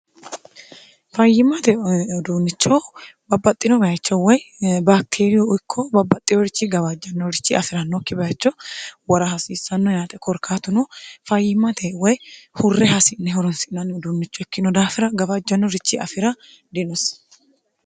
fayyimate uduunnicho babbaxxino bayicho woy bakteeriyu ikko babbaxxinorichi gabaajjannorichi afi'ranokki bayicho wora hasiissanno yaate korkaatuno fayyimate woy hurre hasi'ne horonsi'nanni uduunnicho ikkino daafira gawaajjannorichi afi'ra dinosi.